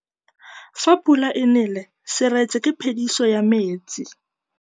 Fa pula e nelê serêtsê ke phêdisô ya metsi.